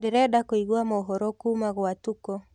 ndĩrenda kũĩgwa mohoro kuma gwa tuko